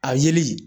A yeli